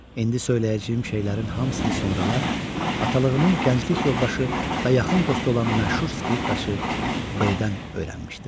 İndi söyləyəcəyim şeylərin hamısını sonralar atalığımın gənclik yoldaşı və yaxın dostu olan məşhur skripkaçı B-dən öyrənmişdim.